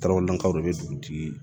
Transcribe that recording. kaw de bɛ dugutigi